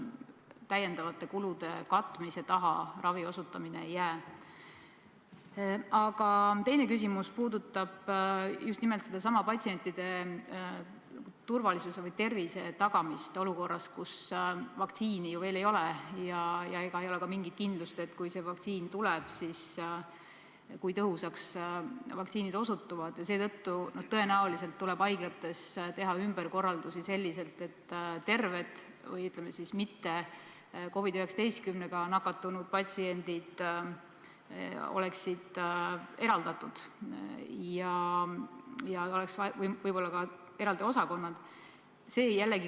Tõesti on väga konkreetne plaanilise töö taastamise juhend tehtud tervishoiuteenuste osutajatele COVID-19 epideemia tingimustes, näiteks plaanilise töö taastamisel epideemia tingimustes vastutab TTO teenuse mahu ja ohutu korraldamise eest, Terviseametil on nõustav ja kontrolliv roll plaanilise töö taastamisel epideemia tingimustes ja ravi jaoks peavad olema ette nähtud ruumid, need peavad olema eraldatud COVID-19-ga saastunud ruumidest.